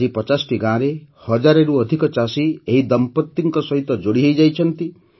ଆଜି ୫୦ଟି ଗାଁର ୧୦୦୦ରୁ ଅଧିକ ଚାଷୀ ଏହି ଦମ୍ପତିଙ୍କ ସହ ଯୋଡ଼ି ହୋଇଛନ୍ତି